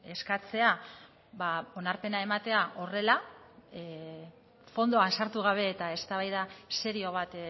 eskatzea onarpena ematea horrela fondoan sartu gabe eta eztabaida serio bat